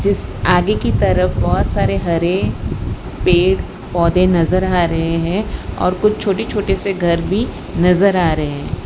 आगे की तरफ बहोत सारे हरे पेड़ पौधे नजर आ रहे हैं और कुछ छोटे छोटे से घर भी नजर आ रहे --